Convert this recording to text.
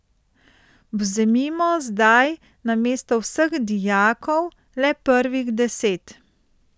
Vzemimo zdaj namesto vseh dijakov le prvih deset.